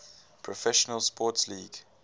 professional sports league